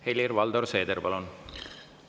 Helir-Valdor Seeder, palun!